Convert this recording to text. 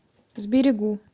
сберегу